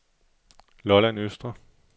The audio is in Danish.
Lolland Østre